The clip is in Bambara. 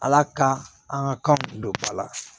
Ala ka an ka kan don ba la